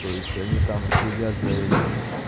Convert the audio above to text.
то есть они там следят за этим